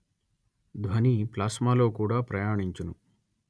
ధ్వని ప్లాస్మా లో కూడా ప్రయాణించును